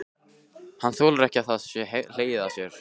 Hann þolir ekki að það sé hlegið að sér.